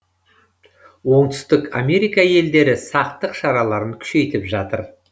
оңтүстік америка елдері сақтық шараларын күшейтіп жатыр